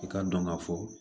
I k'a dɔn ka fɔ